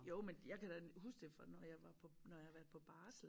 Jo men jeg kan da huske det fra når jeg var på når jeg har været på barsel